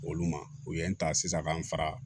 Olu ma u ye n ta sisan ka n fara